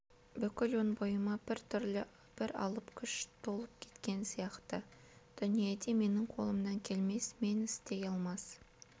бүкіл өн бойыма бір түрлі бір алып күш толып кеткен сияқты дүниеде менің қолымнан келмес мен істей алмас